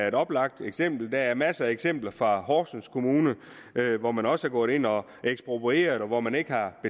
et oplagt eksempel og der er masser af eksempler fra horsens kommune hvor man også er gået ind og har eksproprieret og hvor man ikke har